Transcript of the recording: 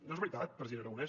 no és veritat president aragonès